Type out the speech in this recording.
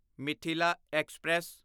Mithila express